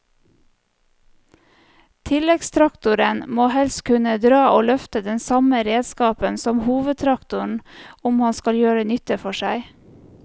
Tilleggstraktoren må helst kunne dra og løfte den samme redskapen som hovedtraktoren om han skal gjøre nytte for seg.